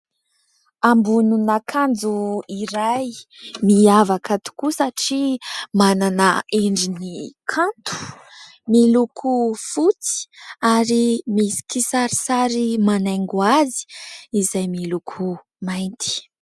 Ambonina akanjo iray miavaka tokoa satria manana endriny kanto, miloko fotsy ary misy kisarisary manaingo azy izay miloko mainty.